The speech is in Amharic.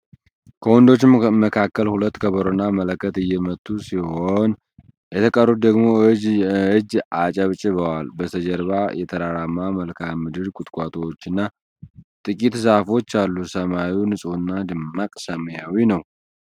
ከወንዶቹ መካከል ሁለቱ ከበሮና መለከት እየመቱ ሲሆን፣ የተቀሩት ደግሞ እጅ አጨብጭበዋል። በስተጀርባ የተራራማ መልክዓ ምድር፣ ቁጥቋጦዎችና ጥቂት ዛፎች አሉ። ሰማዩ ንፁህና ደማቅ ሰማያዊ ነው።